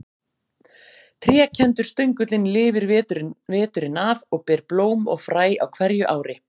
Trékenndur stöngullinn lifir veturinn af og ber blóm og fræ á hverju ári.